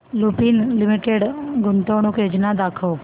Lupin limited गुंतवणूक योजना दाखव